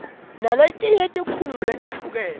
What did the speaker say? naletinye tikhungo letahlukahlukene